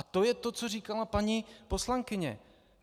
A to je to, co říkala paní poslankyně.